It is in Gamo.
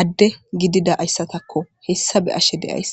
adde gididaayssatakko hessa be'ashe de'ays